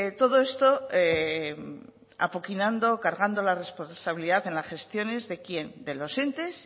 todo esto apoquinando cargando la responsabilidad en las gestiones de quién de los entes